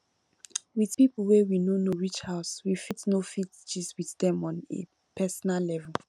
with pipo wey we no know reach house we fit no fit gist with dem on a personal level